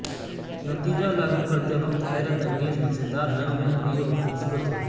نتیجہ لاگو کرتے وقت حیرت انگیز مزیدار رنگ میں امیر اور خوبصورت ہے